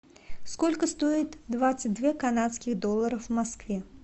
сколько стоит двадцать две канадских доллара в москве